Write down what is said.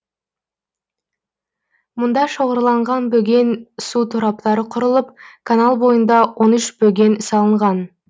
мұнда шоғырланған бөген су тораптары құрылып канал бойында он үш бөген салынған